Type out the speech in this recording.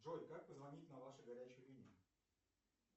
джой как позвонить на вашу горячую линию